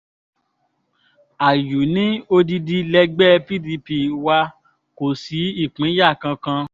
àyù ní odidi lẹgbẹ́ pdp wa kò sí ìpínyà kankan